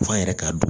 F'an yɛrɛ ka don